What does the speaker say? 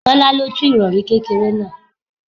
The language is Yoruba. Tọ́lá lo tú irori kékeré náà.